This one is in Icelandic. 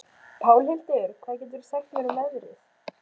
Pálhildur, hvað geturðu sagt mér um veðrið?